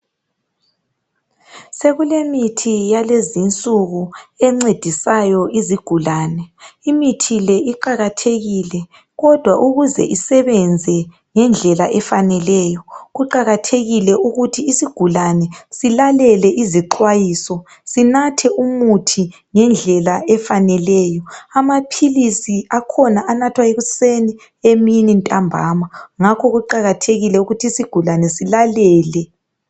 Sekulemithi yalezinsuku encedisayo izigulane .Imithi le iqakathekile kodwa ukuze isebenze ngendlela efaneleyo .Kuqakathekile ukuthi isigulane silalele izixwayiso .Sinathe umuthi ngendlela efaneleyo . Amaphilisi akhona anathwa ekuseni ,emini, ntambana .Ngakho kuqakathekile ukuthi isigulane silalele.